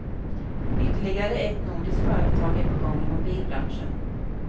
Ytterligare ett nordiskt företag är på gång i mobilbranschen.